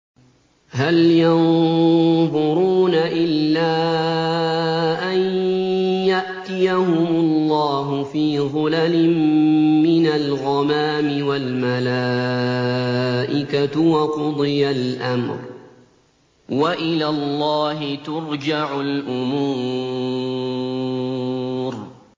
هَلْ يَنظُرُونَ إِلَّا أَن يَأْتِيَهُمُ اللَّهُ فِي ظُلَلٍ مِّنَ الْغَمَامِ وَالْمَلَائِكَةُ وَقُضِيَ الْأَمْرُ ۚ وَإِلَى اللَّهِ تُرْجَعُ الْأُمُورُ